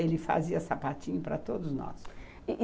Ele fazia sapatinho para todos nós.